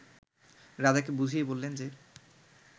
রাজাকে বুঝিয়ে বললেন যে